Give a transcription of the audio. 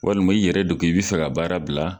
Walima i yɛrɛ de ko i bi fɛ ka baara bila